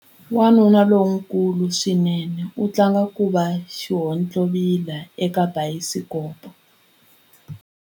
Wanuna lonkulu swinene u tlanga ku va xihontlovila eka bayisikopo.